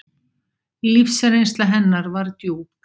Lífsreynsla hennar var djúp.